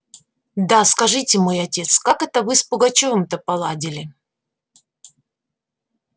да скажите мой отец как это вы с пугачёвым-то поладили